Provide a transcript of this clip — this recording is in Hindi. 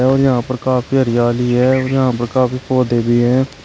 और यहां पर काफी हरियाली है और यहां पर काफी पौधे भी हैं।